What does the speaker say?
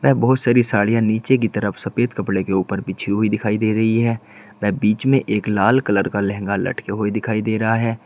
व बहुत सारी साड़ियां नीचे की तरफ सफेद कपड़े के ऊपर बिछी हुई दिखाई दे रही है व बीच में एक लाल कलर का लहंगा लटके हुए दिखाई दे रहा है।